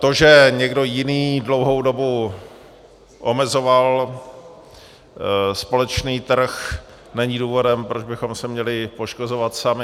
To, že někdo jiný dlouhou dobu omezoval společný trh, není důvodem, proč bychom se měli poškozovat sami.